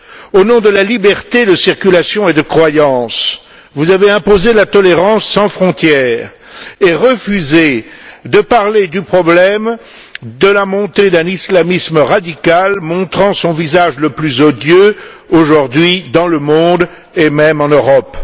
Au nom de la liberté de circulation et de croyance, vous avez imposé la tolérance sans frontières et refusé de parler du problème de la montée d'un islamisme radical montrant son visage le plus odieux aujourd'hui dans le monde et même en Europe.